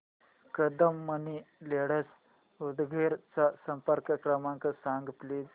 Kadam money lenders Udgir चा संपर्क क्रमांक सांग प्लीज